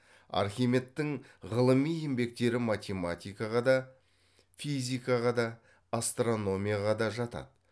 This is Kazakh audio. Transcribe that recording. архимедтің ғылыми еңбектері математикаға да физикаға да асторномияға да жатады